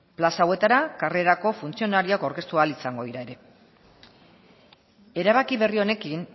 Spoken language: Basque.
plaza hauetara karrerako funtzionarioak aurkeztu ahal izango dira ere erabaki berri honekin